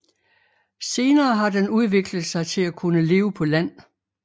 Senere har den udviklet sig til at kunne leve på land